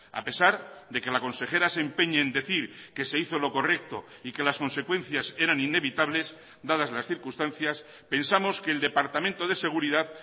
a pesar de que la consejera se empeñe en decir que se hizo lo correcto y que las consecuencias eran inevitables dadas las circunstancias pensamos que el departamento de seguridad